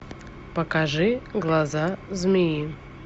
покажи глаза змеи